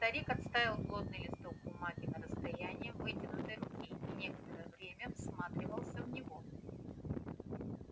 старик отставил плотный листок бумаги на расстояние вытянутой руки и некоторое время всматривался в него